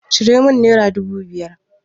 Ciro min naira dubu biyar.